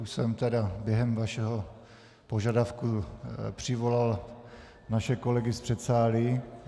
Už jsem tedy během vašeho požadavku přivolal naše kolegy z předsálí.